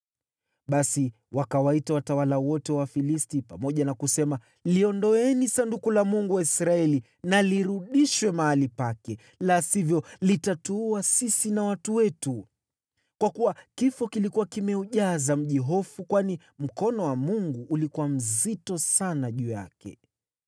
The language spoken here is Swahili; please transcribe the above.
Basi wakawaita watawala wote wa Wafilisti pamoja na kusema, “Liondoeni Sanduku la Mungu wa Israeli na lirudishwe mahali pake, la sivyo litatuua sisi na watu wetu.” Kwa kuwa kifo kilikuwa kimeujaza mji hofu; kwani mkono wa Mungu ulikuwa mzito sana juu yake.